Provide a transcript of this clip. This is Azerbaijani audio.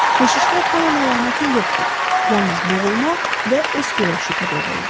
Keşişdə taun əlaməti yoxdur, yalnız boğulma və öskürək şübhə doğururdu.